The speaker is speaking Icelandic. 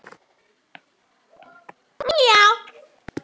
Vilbert, hvernig er dagskráin í dag?